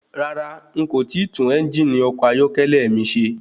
Rárá,n kò tíì tún ẹ́ngìnì ọkọ̀ ayọ́kẹ́lẹ́ mi ṣe.